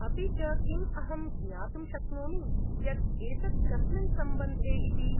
अपि च किम् अहं ज्ञातुं शक्नोमि यत् एतत् कस्मिन् सम्बन्धे इति?